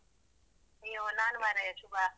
ಅಯ್ಯೋ ನಾನು ಮಾರಾಯ ಶುಭಾ.